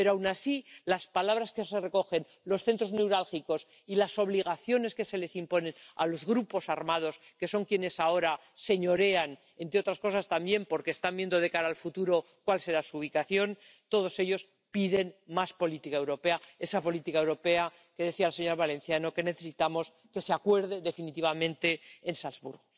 pero aun así las palabras que se recogen, los centros neurálgicos y las obligaciones que se les imponen a los grupos armados, que son quienes ahora señorean —entre otras cosas también porque están viendo de cara al futuro cuál será su ubicación—, todos ellos piden más política europea, esa política europea que, como decía la señora Valenciano, necesitamos que se acuerde definitivamente en Salzburgo.